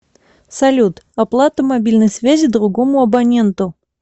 салют оплата мобильной связи другому абоненту